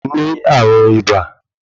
O ní ààrùn ibà